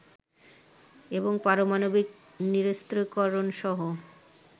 এবং পারমাণবিক নিরস্ত্রীকরণসহ